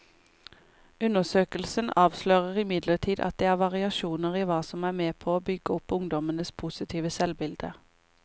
Undersøkelsen avslører imidlertid at det er variasjoner i hva som er med på å bygge opp ungdommenes positive selvbilde.